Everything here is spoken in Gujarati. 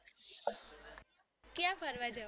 ક્યાં ફરવા જવાની